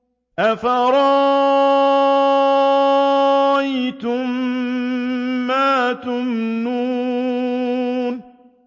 أَفَرَأَيْتُم مَّا تُمْنُونَ